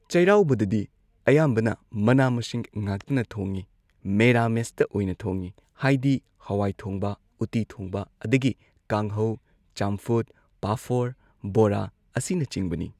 ꯆꯩꯔꯥꯎꯕꯗꯗꯤ ꯑꯌꯥꯝꯕꯅ ꯃꯅꯥ ꯃꯁꯤꯡ ꯉꯥꯛꯇꯅ ꯊꯣꯡꯉꯦ ꯃꯦꯔꯥꯃꯦꯁꯇ ꯑꯣꯏꯅ ꯊꯣꯡꯉꯦ ꯍꯥꯏꯗꯤ ꯍꯋꯥꯏ ꯊꯣꯡꯕ ꯎꯠꯇꯤ ꯊꯣꯡꯕ ꯑꯗꯒꯤ ꯀꯥꯡꯍꯧ ꯆꯝꯐꯨꯠ ꯄꯥꯐꯣꯔ ꯕꯣꯔꯥ ꯑꯁꯤꯅꯆꯤꯡꯕꯅꯤ꯫